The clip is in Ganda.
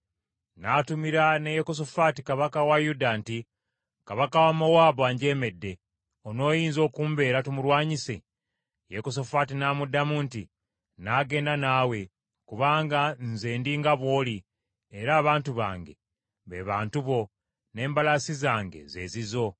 N’atumira ne Yekosafaati kabaka wa Yuda nti, “Kabaka wa Mowaabu anjeemedde, onooyinza okumbeera tumulwanyise?” Yekosafaati n’amuddamu nti, “Nnaagenda naawe, kubanga nze ndi nga bw’oli, era abantu bange be bantu bo, n’embalaasi zange ze zizo.”